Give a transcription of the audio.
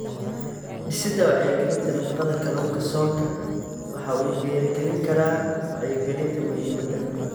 Dhisidda Wacyigelinta Nafaqada Kalluunka Soonka waxa uu dhiirigelin karaa wacyigelinta muhiimadda.